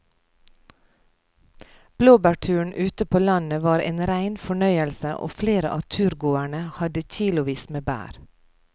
Blåbærturen ute på landet var en rein fornøyelse og flere av turgåerene hadde kilosvis med bær.